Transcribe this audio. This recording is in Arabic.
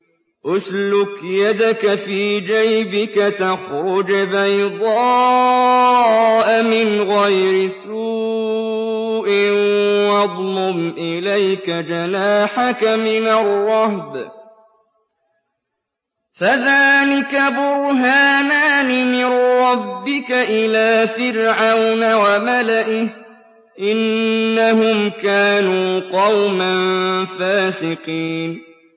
اسْلُكْ يَدَكَ فِي جَيْبِكَ تَخْرُجْ بَيْضَاءَ مِنْ غَيْرِ سُوءٍ وَاضْمُمْ إِلَيْكَ جَنَاحَكَ مِنَ الرَّهْبِ ۖ فَذَانِكَ بُرْهَانَانِ مِن رَّبِّكَ إِلَىٰ فِرْعَوْنَ وَمَلَئِهِ ۚ إِنَّهُمْ كَانُوا قَوْمًا فَاسِقِينَ